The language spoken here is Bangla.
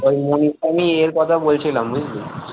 ও মনি আমি ইয়ের কথা বলছিলাম বুঝলি?